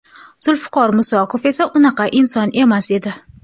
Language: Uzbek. Zulfiqor Musoqov esa unaqa inson emas edi.